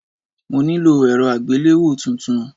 Mo nílò èrọ àgbéléwò tuntun.